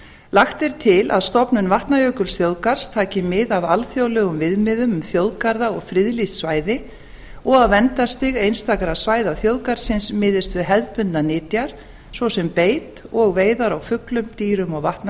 lagt er til að stofnun vatnajökulsþjóðgarðs taki mið af alþjóðlegum viðmiðum um þjóðgarða og friðlýst svæði og að verndarstig einstakra svæða þjóðgarðsins miðist við hefðbundnar nytjar svo sem beit og veiðar á fuglum dýrum og